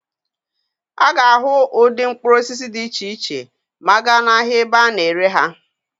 A ga-ahụ ụdị mkpụrụ osisi dị iche iche ma a gaa n'ahịa ebe a na-ere ha.